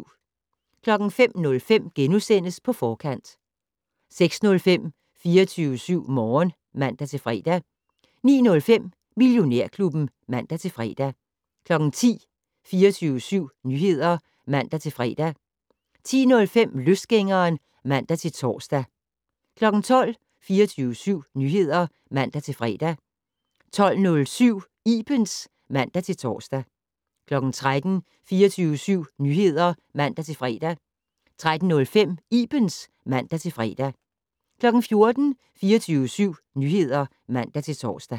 05:05: På Forkant * 06:05: 24syv Morgen (man-fre) 09:05: Millionærklubben (man-fre) 10:00: 24syv Nyheder (man-fre) 10:05: Løsgængeren (man-tor) 12:00: 24syv Nyheder (man-fre) 12:07: Ibens (man-tor) 13:00: 24syv Nyheder (man-fre) 13:05: Ibens (man-fre) 14:00: 24syv Nyheder (man-tor)